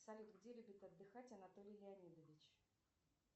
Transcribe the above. салют где любит отдыхать анатолий леонидович